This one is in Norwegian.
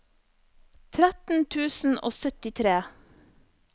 tretten tusen og syttitre